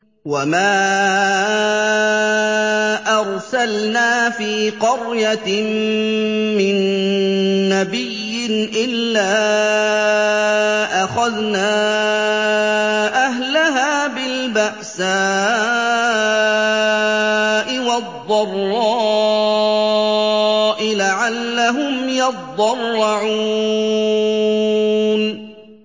وَمَا أَرْسَلْنَا فِي قَرْيَةٍ مِّن نَّبِيٍّ إِلَّا أَخَذْنَا أَهْلَهَا بِالْبَأْسَاءِ وَالضَّرَّاءِ لَعَلَّهُمْ يَضَّرَّعُونَ